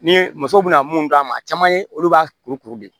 Ni musow bɛna mun d'a ma a caman ye olu b'a kuru kuru de